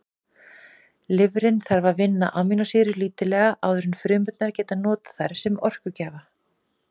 Lifrin þarf að vinna amínósýrur lítillega áður en frumurnar geta notað þær sem orkugjafa.